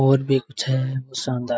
और भी कुछ है वो शानदार --